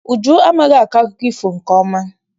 Uju amaghị akọ akụkọ ifo nke ọma.